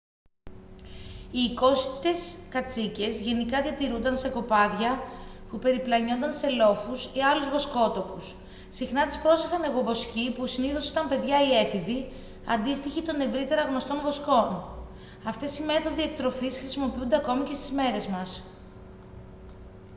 οι οικόσιτες κατσίκες γενικά διατηρούνταν σε κοπάδια που περιπλανιόνταν σε λόφους ή άλλους βοσκότοπους συχνά τις πρόσεχαν αιγοβοσκοί που συνήθως ήταν παιδιά ή έφηβοι αντίστοιχοι των ευρύτερα γνωστών βοσκών αυτές οι μέθοδοι εκτροφής χρησιμοποιούνται ακόμη στις μέρες μας